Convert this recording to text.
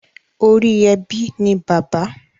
Ori ebi ni bàbá.